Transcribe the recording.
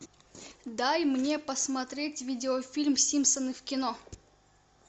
дай мне посмотреть видеофильм симпсоны в кино